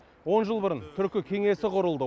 он жыл бұрын түркі кеңесі құрылды